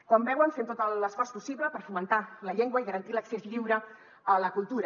com veuen fem tot l’esforç possible per fomentar la llengua i garantir l’accés lliure a la cultura